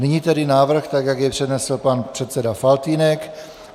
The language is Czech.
Nyní tedy návrh, tak jak jej přednesl pan předseda Faltýnek.